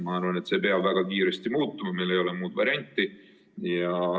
Ma arvan, et see peab väga kiiresti muutuma, meil ei ole muud varianti.